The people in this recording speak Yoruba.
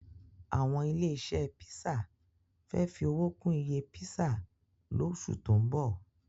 Àwọn ilé-iṣẹ́ písà fẹ́ fi owó kún iye písà lóṣù tó ń bọ̀.